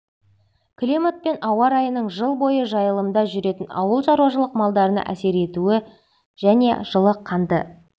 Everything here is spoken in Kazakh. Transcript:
климат пен ауа райының жыл бойы жайылымда жүретін ауылшаруашылық малдарына әсер етуін және жылы қанды